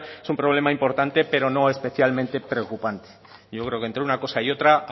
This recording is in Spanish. es un problema importante pero no especialmente preocupante yo creo que entre una cosa y otra